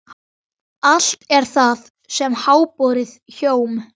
Allt er það sem háborið hjóm.